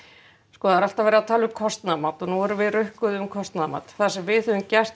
sko það er alltaf verið að tala um kostnaðarmat og nú erum við rukkuð um kostnaðarmat það sem við höfum gert